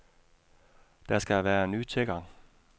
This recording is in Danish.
Der skal være ny tilgang.